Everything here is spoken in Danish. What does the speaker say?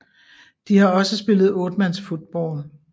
De har også spillet 8 mands football